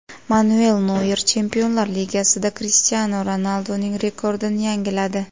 Manuel Noyer Chempionlar Ligasida Krishtianu Ronalduning rekordini yangiladi.